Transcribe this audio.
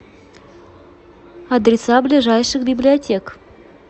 адреса ближайших библиотек